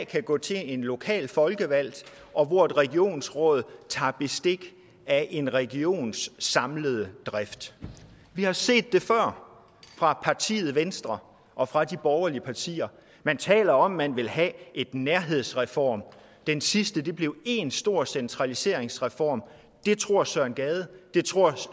kan gå til en lokal folkevalgt og hvor et regionsråd tager bestik af en regions samlede drift vi har set det før fra partiet venstre og fra de borgerlige partier man taler om at man vil have en nærhedsreform den sidste blev én stor centraliseringsreform det tror herre søren gade og det tror